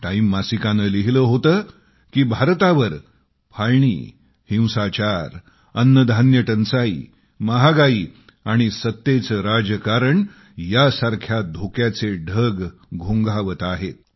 time मासिकानं लिहिलं होतं की भारतावर फाळणी हिंसाचारअन्नधान्य टंचाई महागाई आणि सत्तेचे राजकारण यांसारख्या धोक्याचे ढग घोंघावत आहेत